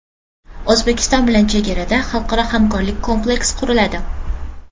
O‘zbekiston bilan chegarada xalqaro hamkorlik kompleksi quriladi.